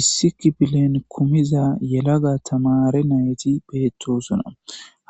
Issi kipilen kumiza yelaga tamare nayti beettosuna